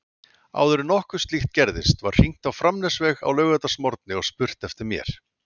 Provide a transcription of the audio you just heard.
Áður en nokkuð slíkt gerðist var hringt á Framnesveg á laugardagsmorgni og spurt eftir mér.